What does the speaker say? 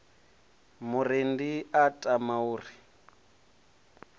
murendi a tama u ri